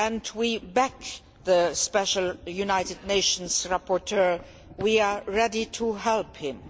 We back the special United Nations rapporteur and are ready to help him.